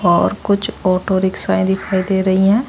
और कुछ ऑटो रिक्शाए दिखाई दे रही हैं।